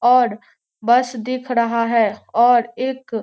और बस दिख रहा है और एक --